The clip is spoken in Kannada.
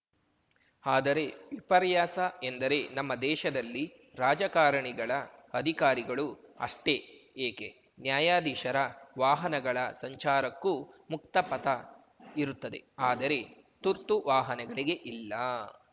ಆದರೆ ವಿಪರ್ಯಾಸ ಎಂದರೆ ನಮ್ಮ ದೇಶದಲ್ಲಿ ರಾಜಕಾರಣಿಗಳ ಅಧಿಕಾರಿಗಳು ಅಷ್ಟೇ ಏಕೆ ನ್ಯಾಯಾಧೀಶರ ವಾಹನಗಳ ಸಂಚಾರಕ್ಕೂ ಮುಕ್ತ ಪಥ ಇರುತ್ತದೆ ಆದರೆ ತುರ್ತು ವಾಹನಗಳಿಗೆ ಇಲ್ಲಾ